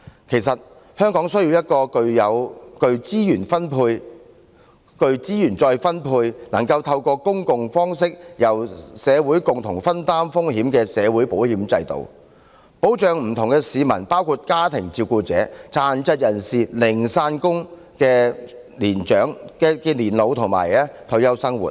其實，香港需要一個具資源再分配、能夠透過公共方式由社會共同分擔風險的社會保險制度，保障不同市民，包括家庭照顧者、殘疾人士和零散工人的年老及退休生活。